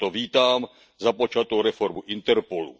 Proto vítám započatou reformu Interpolu.